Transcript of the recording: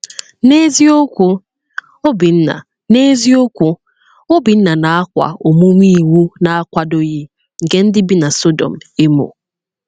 N’eziokwu, Obinna N’eziokwu, Obinna na-akwa “omume iwu na-akwadoghị” nke ndị bi na Sodọm emo.